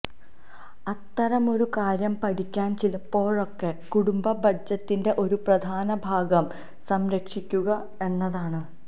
അത്തരമൊരു കാര്യം പഠിക്കാൻ ചിലപ്പോഴൊക്കെ കുടുംബ ബഡ്ജറ്റിന്റെ ഒരു പ്രധാന ഭാഗം സംരക്ഷിക്കുക എന്നതാണ്